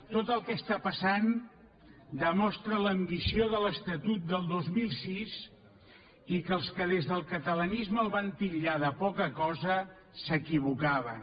tot el que està passant demostra l’ambició de l’estatut del dos mil sis i que els que des del catalanisme el van titllar de poca cosa s’equivocaven